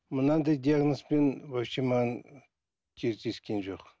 мынандай диагнозбен вообще маған кездескен жоқ